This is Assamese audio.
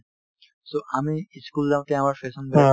so, আমি ই school যাওঁতে আমাৰ fashion বেলেগ